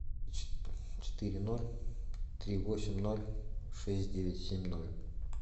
четыре ноль три восемь ноль шесть девять семь ноль